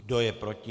Kdo je proti?